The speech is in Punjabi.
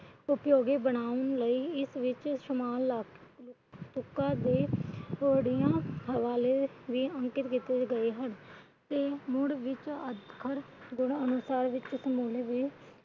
ਉਪਯੋਗੀ ਬਨਾਉਣ ਲਈ ਇਸ ਵਿੱਚ ਸਮਾਲ ਤੁਕਾਂ ਦੇ ਅੰਕੁਰਿਤ ਕੀਤੇ ਗਏ ਹਨ।